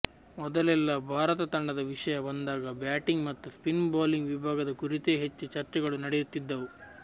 ಮೊದಲೆಲ್ಲಾ ಭಾರತ ತಂಡದ ವಿಷಯ ಬಂದಾಗ ಬ್ಯಾಟಿಂಗ್ ಮತ್ತು ಸ್ಪಿನ್ ಬೌಲಿಂಗ್ ವಿಭಾಗದ ಕುರಿತೇ ಹೆಚ್ಚು ಚರ್ಚೆಗಳು ನಡೆಯುತ್ತಿದ್ದವು